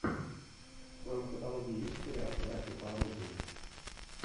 в твоем каталоге есть сериал братья по оружию